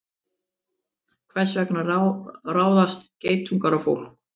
Hvers vegna ráðast geitungar á fólk?